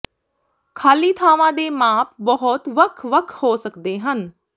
ਖਾਲੀ ਥਾਵਾਂ ਦੇ ਮਾਪ ਬਹੁਤ ਵੱਖ ਵੱਖ ਹੋ ਸਕਦੇ ਹਨ